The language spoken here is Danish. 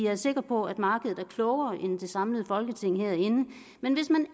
er sikker på at markedet er klogere end det samlede folketing herinde men hvis man